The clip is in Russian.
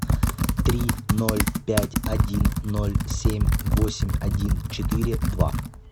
три ноль пять один ноль семь восемь один четыре два